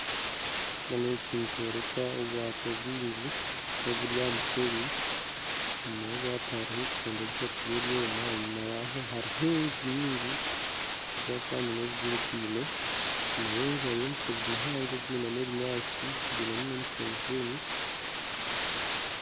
Ekishushani eki nikyoreka ebwato bwingi noburi aha mushenyi enyima y'obwato hariho ebikondo bishatu byebyoma enyima yaho hariyo enju nyingi zaakanyina zihikaikaine enyima y'enju hariyo omushozi muhango gwinemu ebinyatsi gwinemu nomushenyi